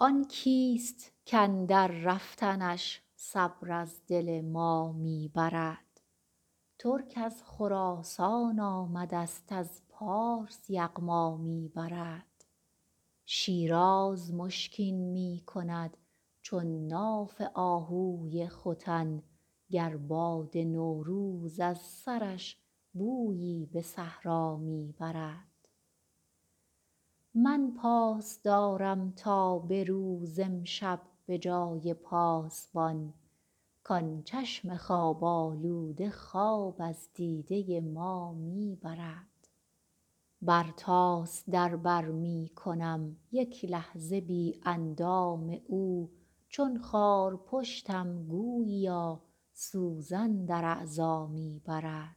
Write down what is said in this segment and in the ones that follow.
آن کیست کاندر رفتنش صبر از دل ما می برد ترک از خراسان آمدست از پارس یغما می برد شیراز مشکین می کند چون ناف آهوی ختن گر باد نوروز از سرش بویی به صحرا می برد من پاس دارم تا به روز امشب به جای پاسبان کان چشم خواب آلوده خواب از دیده ما می برد برتاس در بر می کنم یک لحظه بی اندام او چون خارپشتم گوییا سوزن در اعضا می برد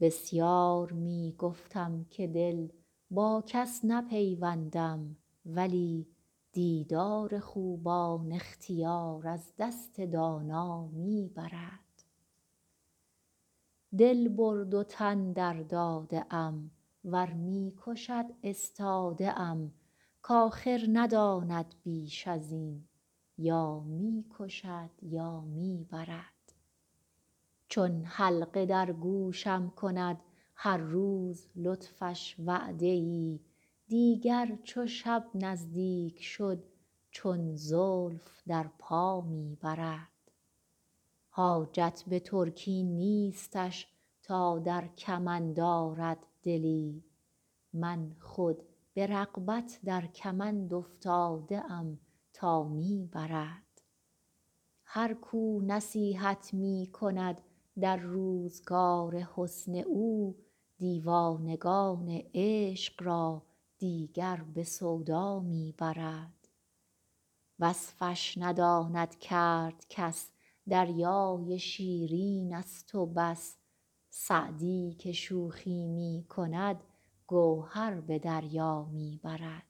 بسیار می گفتم که دل با کس نپیوندم ولی دیدار خوبان اختیار از دست دانا می برد دل برد و تن درداده ام ور می کشد استاده ام کآخر نداند بیش از این یا می کشد یا می برد چون حلقه در گوشم کند هر روز لطفش وعده ای دیگر چو شب نزدیک شد چون زلف در پا می برد حاجت به ترکی نیستش تا در کمند آرد دلی من خود به رغبت در کمند افتاده ام تا می برد هر کو نصیحت می کند در روزگار حسن او دیوانگان عشق را دیگر به سودا می برد وصفش نداند کرد کس دریای شیرینست و بس سعدی که شوخی می کند گوهر به دریا می برد